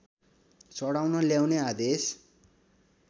चढाउन ल्याउने आदेश